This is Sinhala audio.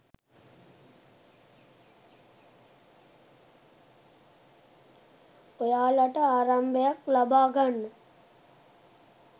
ඔයාලට ආරම්භයක් ලබා ගන්න